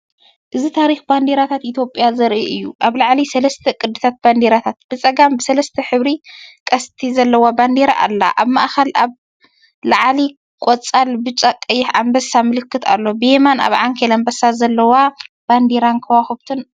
እዚ ታሪኽ ባንዴራታት ኢትዮጵያ ዘርኢ እዩ። ኣብ ላዕሊ ሰለስተ ቅዲታት ባንዴራታት፤ ብጸጋም ብሰለስተ ሕብሪቀስቲ ዘለዋ ባንዴራ ኣላ። ኣብ ማእከል ኣብ ላዕሊ ቀጠልያ ብጫ ቀይሕ ኣንበሳ ምልክት ኣሎ። ብየማን ኣብ ዓንኬል ኣንበሳ ዘለዎ ባንዴራን ከዋኽብትን ኣሎ።